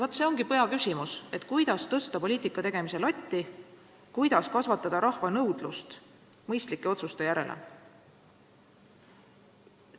Vaat see ongi peaküsimus: kuidas tõsta poliitika tegemise latti, kuidas kasvatada rahva nõudlust mõistlike otsuste järele?